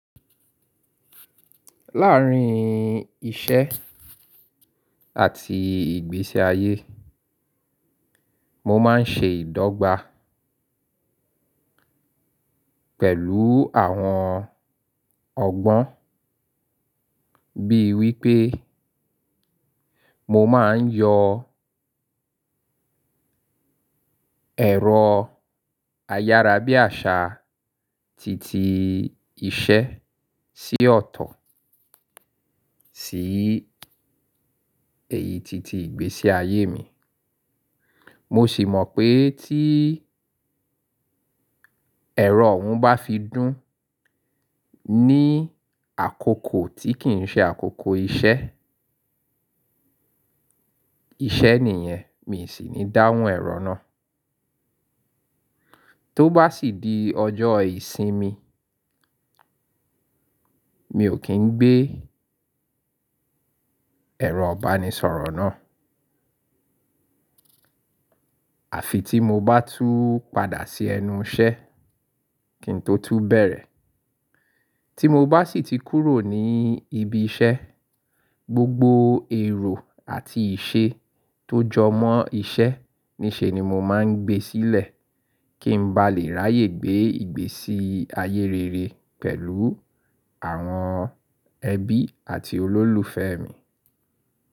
Láàárín iṣẹ́ àti ìgbésí ayé, mo máa ń ṣe ìdọ́gba pẹ̀lú àwọn ọgbọ́n bíi wípé mo máa ń yọ ẹ̀rọ ayárabíàṣaá titi iṣẹ́ sí ọ̀tọ̀ sí èyí titi ìgbésí ayé mi. Mo sì mọ̀ pé tí ẹ̀rọ òún bá fi dún ní àkókò tí kì í ṣe àkókò iṣ ẹ́, iṣẹ́ nìyẹn, mi sì ní dáhùn ẹ̀rọ náà. Tó bá sì di ọjọ́ ìsinmi, mi ò kí ń gbé ẹ̀rọ ìbánisọ̀rọ̀ náà. Àfi tí n mo bá tú padà sí ẹnu iṣẹ́ kí n tó tún bẹ̀rẹ̀. Tí mo bá sì ti kúrò ní ibi iṣẹ́, gbogbo èrò àti ìṣe tó jọ mọ́ iṣẹ́ níṣe ni mo máa ń gbé sílẹ̀ kí n ba lè ráyè gbé ìgbésí ayé rere pẹ̀lú àwọn ẹbí àti olólùfẹ́ mi.